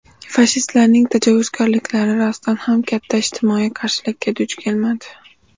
Fashistlarning tajovuzkorliklari rostdan ham katta ijtimoiy qarshilikka duch kelmadi.